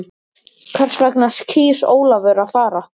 Hvers vegna kýs Ólafur að fara?